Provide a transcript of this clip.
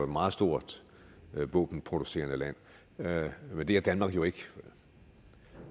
meget stort våbenproducerende land men det er danmark jo ikke